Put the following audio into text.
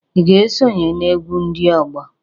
I ga esonye na-egwu ndị ọgbọ?